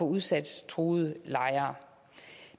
udsættelsestruede lejere